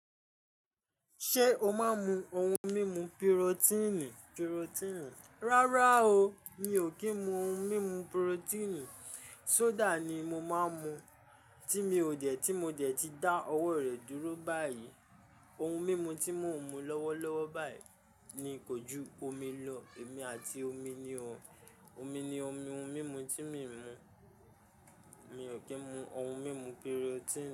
Ṣé o máa ń mu ohun mímu pirotíìnì? Rárá o, mi ò kí ń mu ohun mímu pirotíìnì. Soda ni mo máa ń mu tí mi ò dẹ̀, tí mo dẹ̀ ti dá ọwọ́ rẹ̀ dúró báyìí. Ohun mímu tí mò ń mu lọ́wọ́lọ́wọ́ báyìí ni kojú omi lọ. Èmi àti omi ni o. Omi ni ohun mímu tí mi ń mu. Mi ò kí ń mu ohun mímu pirotíìnì.